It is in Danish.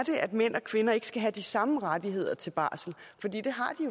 at mænd og kvinder ikke skal have de samme rettigheder til barsel